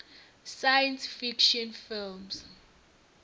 science fiction films